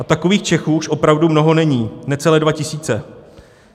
A takových Čechů už opravdu mnoho není, necelé dva tisíce.